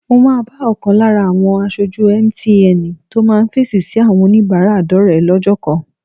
Mo máa bá ọ̀kan lára àwọn aṣojú MTN tó máa fèsì sí àwọn oníbàárà dọ́rẹ̀ẹ́ lọ́jọ́ kan